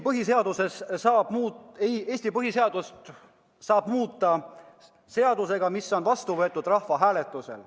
Eesti põhiseadust saab muuta seadusega, mis on vastu võetud rahvahääletusel.